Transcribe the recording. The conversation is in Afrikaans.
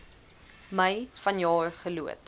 mei vanjaar geloods